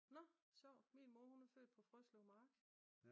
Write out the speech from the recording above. Nå sjovt. Min mor hun er født på Frøslev mark